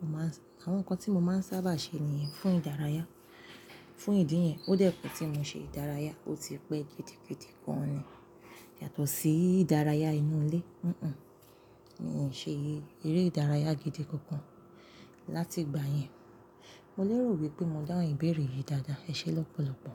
mo máa ń-- àwọn nǹkan tí mo máa ń sábà ṣe nìyẹn fún ìdárayá. Fún ìdí yẹn, ó dẹ́ pe tí mo ṣe ìdárayá, ó ti pẹ́ gidi gan ni. Yàtọ̀ sí ìdárayá inú ilé. Mi ò ṣe eré ìdárayá gidi kankan láti ìgbà yẹn. Mo lérò wípé mo dáhùn ìbéèrè yìí dáadáa. Ẹ ṣé lọ́pọ̀lọ́pọ̀.